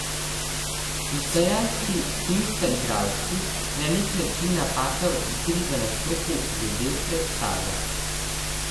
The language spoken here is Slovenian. Z ustvarjalci, ki niso igralci, je na nek način napaka v igri, v nastopu, že del predstave.